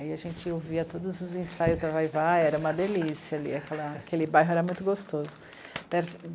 Aí a gente ouvia todos os ensaios da Vai-vai, era uma delícia ali, aquele bairro era muito gostoso.